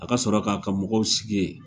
A ka sɔrɔ k'a ka mɔgɔw sigi yen.